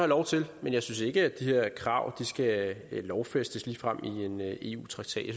lov til men jeg synes ikke at de her krav ligefrem skal lovfæstes i en eu traktat